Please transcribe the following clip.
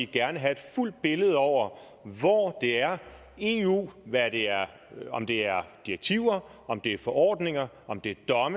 gerne have et fuldt billede over hvor det er eu om det er direktiver om det er for ordninger om det